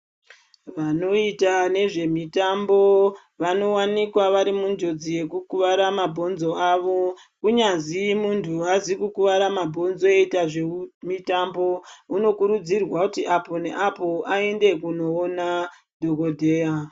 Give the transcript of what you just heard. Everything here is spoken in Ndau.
Vanoita nezvemitambo vanowanikwa varimunjodzi yekukuwara mabhonzo avo. Kunyazi muntu aazi kukuwara mabhonzo eiita zvemitambo, unokurudzirwa kuti apo neapo aende kunoona dhokodheya.